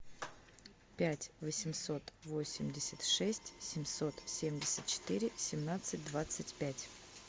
пять восемьсот восемьдесят шесть семьсот семьдесят четыре семнадцать двадцать пять